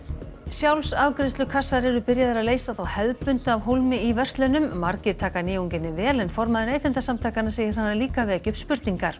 sjálfsafgreiðslukassar eru byrjaðir að leysa þá hefðbundnu af hólmi í verslunum margir taka vel en formaður Neytendasamtakanna segir hana líka vekja upp spurningar